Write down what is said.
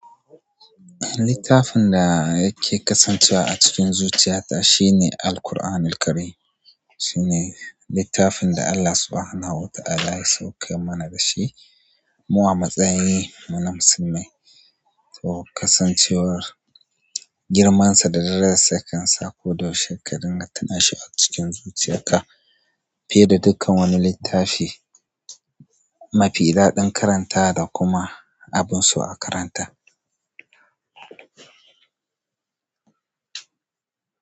Littafin da yake kasancewa a cikin zuciyata shine Alquranil Karim. Shine littafin da Allah Subhanahu wa Ta'ala ya saukar mana da shi mu a matsayi mu na musulmai. To kasancewar girmansa da darajar sa kansa koda yaushe ka rinƙa tunashi a cikin zuciyanka fiye da dukkan wani littafi mafi daɗin karanta da kuma abun so a karanta.